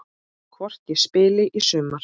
Hvort ég spili í sumar?